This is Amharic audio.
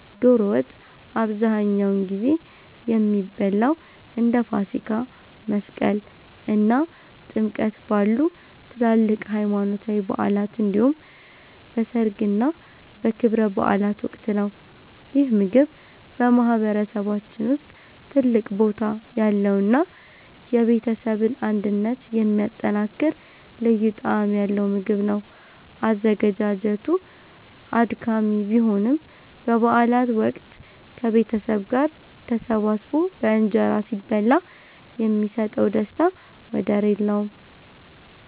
ዶሮ ወጥ አብዛኛውን ጊዜ የሚበላው እንደ ፋሲካ፣ መስቀል እና ጥምቀት ባሉ ትላልቅ ሃይማኖታዊ በዓላት እንዲሁም በሠርግና በክብረ በዓላት ወቅት ነው። ይህ ምግብ በማህበረሰባችን ውስጥ ትልቅ ቦታ ያለውና የቤተሰብን አንድነት የሚያጠናክር ልዩ ጣዕም ያለው ምግብ ነው። አዘገጃጀቱ አድካሚ ቢሆንም፣ በበዓላት ወቅት ከቤተሰብ ጋር ተሰባስቦ በእንጀራ ሲበላ የሚሰጠው ደስታ ወደር የለውም።